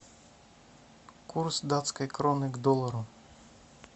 курс датской кроны к доллару